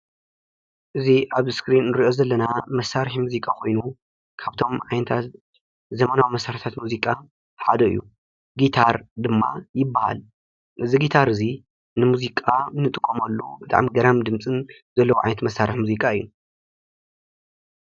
እዚ አብ እስክሪን እንሪኦ ዘለና መሳርሒ ሙዚቃ ኮይኑ ካብቶም ዓይነታት ዘመናዊ መሳርሕታት ሙዚቃ ሓደ እዩ። ጊታር ድማ ይበሃል። እዚ ጊታር እዚ ንሙዚቃ እንጥቀመሉ ብጣዕሚ ገራሚ ድምፅን ዘለዎ ዓይነት መሳርሒ ሙዚቃ እዩ።